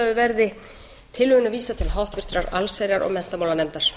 umræðu verði tillögunni vísað til háttvirtrar allsherjar og menntamálanefndar